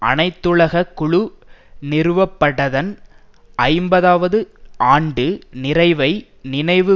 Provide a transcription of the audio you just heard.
அனைத்துலக குழு நிறுவப்படதன் ஐம்பதவது ஆண்டு நிறைவை நினைவு